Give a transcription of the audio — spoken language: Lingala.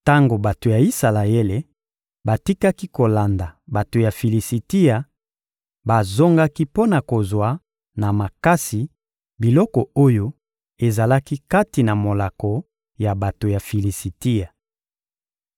Tango bato ya Isalaele batikaki kolanda bato ya Filisitia, bazongaki mpo na kozwa na makasi biloko oyo ezalaki kati na molako ya bato ya Filisitia.